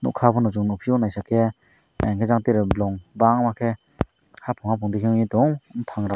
okay bo chung nugfio nai ja ke ajang tere bolong bangma ke having having degi bufang rok.